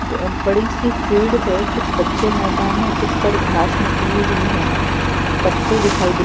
बड़ी सी फील्ड है। कुछ कच्चे मैदान हैं। कुछ पर घास निकली हुई हैं पत्ते दिखाई दे रहे --